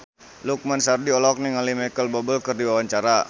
Lukman Sardi olohok ningali Micheal Bubble keur diwawancara